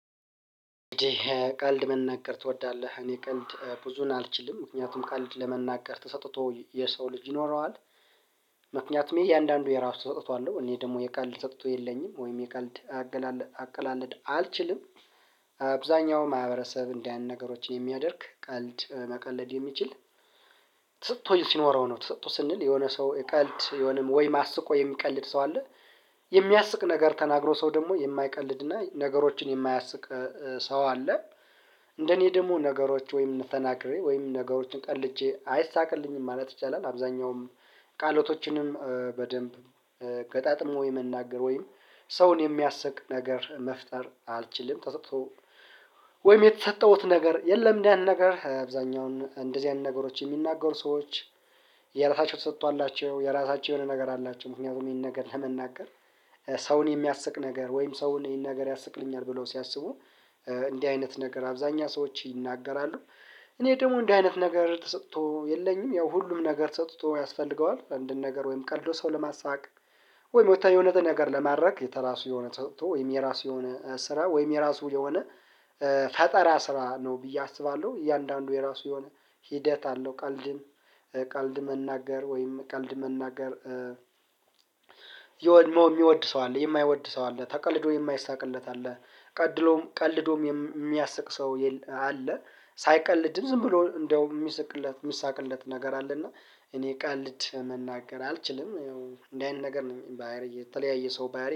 ቀልድ መናገር ትወዳለህ? እኔ ቀልድ ብዙን አልችልም ምክንያቱም ቀልድ ለመናገር ተሰጥቶ የሰው ልጅ ይኖረዋል። ምክንያቱም የእያንዳንዱ የራሱ ተሰጥቶ አለው እኔ ደግሞ የቀልድ ተሰጥቶ የለኝም ወይም የቀልድ አቀላለ አቀላለድ አልችልም። አብዛኛውም ማህበረሰብ እንዲህ አይነት ነገሮችን የሚያደርግ ቀልድ መቀለድ የሚችልተሰጥቶ ሲኖረው ነው። ተሰጥቶ ስንል የሆነ ሰው ቀልድ የሆነም ወይም አስቆ የሚቀልድ ሰው አለ። የሚያስቅ ነገር ተናግሮ ሰው ደግሞ የማይቀልድና ነገሮችን የማያስቅ ሰው አለ። እንደኔ ደግሞ ነገሮች ወይም ተናግሬ ወይም ነገሮችን ቀልጀ አይሳቅልኝም ማለት ይቻላል። አብዛኛውም ቃላቶችንም በደንብ ገጣጥሞ የመናገር ወይም ሰውን የሚያስቅ ነገር መፍጠር አልችልም። ተሰጥቶ ወይም የተሰጠሁት ነገር የለም። እንደዚህ አይነት ነገር አብዛኛውን እንደዚህ አይነት ነገሮች የሚናገሩ ሰዎች የራሳቸው ተሰጥቶአላቸው የራሳቸው የሆነ ነገር አላቸው። ምክንያቱም ይሄን ነገር ለመናገር ሰውን የሚያስቅ ነገር ወይም ሰውን ይሄን ነገር ያስቅልኛል ብለው ሲያስቡ እንዲህ አይነት ነገር አብዛኛው ሰዎች ይናገራሉ። እኔ ደግሞ እንዲህ አይነት ነገር ተሰጥቶ የለኝም። ያው ሁሉም ነገር ተሰጥቶ ያስፈልገዋል አንድን ነገር ወይም ቀልዶ ሰው ለማሳወቅ ወይም ወተን የሆነት ነገር ለማድረግ የተራሱ የሆነ ተሰጥቶ የራሱ የሆነ ስራ ወይም የራሱ የሆነ ፈጠራ ስራ ነው። ብዬ አስባለሁ እያንዳንዱ የራሱ የሆነ ሂደት አለው። ቀልድም ቀልድ መናገር ወይም ቀልድ መናገር የሚወድ ሰው አለ የማይወድ ሰው አለ ተቀልዶ የማይሳቅለት አለ። ቀድሎም ቀልዶም የሚያስቅ ሰውየለ አለ። ሳይቀልድም ዝም ብሎ እንደው የሚስቅለት የሚሳቅለት ነገር አለ። እና እኔ ቀል ልድ መናገር አልችልም። ያው እንደዚህ አይነት ነገር ነው ባህሪ የተለያየ ሰው ባህርይ